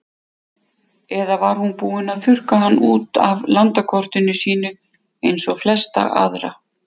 Eða var hún búin að þurrka hann út af landakortinu sínu eins og flesta aðra?